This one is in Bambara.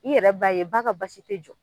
I yɛrɛ b'a ye ba ka basi te jɔ.